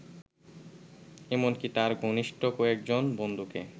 এমনকি তার ঘনিষ্ঠ কয়েকজন বন্ধুকে